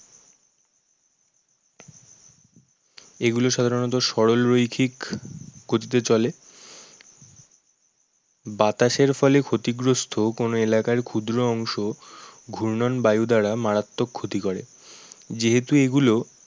এগুলো সাধারণত সরল রৈখিক গতিতে চলে বাতাসের ফলে ক্ষতিগ্রস্ত কোনো এলাকার ক্ষুদ্র অংশ ঘূর্ণয়ন বায়ু দ্বারা মারাত্মক ক্ষতি করে। যেহেতু এগুলো